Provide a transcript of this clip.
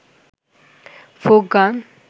folk গান